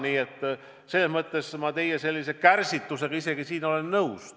Nii et selles mõttes olen ma teie kärsitusega isegi nõus.